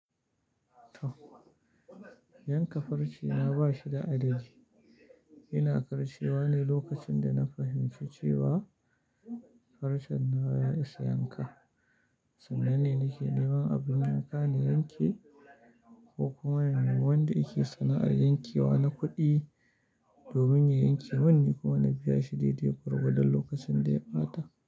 Yanka farce na ba shi da adadi. Ina karcewa ne lokacin da na fahimci cewa farcen na ya isa yanka. Sannan ni nake neman abin yanka na yanke ko kuma wanda yake sana'ar yankewa na kuɗi domin ya yanke. Wannan kuma na biya shi daidai gwargwadon lokacin da ya ɓata.